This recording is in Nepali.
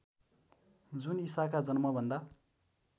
जुन ईसाका जन्मभन्दा